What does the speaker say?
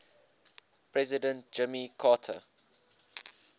president jimmy carter